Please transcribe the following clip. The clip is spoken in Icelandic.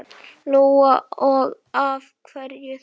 Lóa: Og af hverju þá?